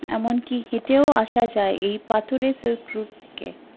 এমন কি হেঠেও আসা যায় এই পাথরের silk route থেকে